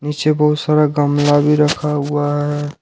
नीचे बहुत सारा गमला भी रखा हुआ है।